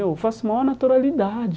Eu faço maior naturalidade.